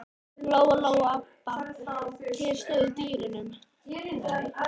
Lóa-Lóa og Abba hin stóðu í dyrunum.